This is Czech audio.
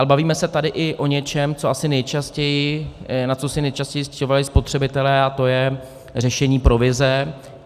Ale bavíme se tady i o něčem, na co si nejčastěji stěžovali spotřebitelé, a to je řešení provize.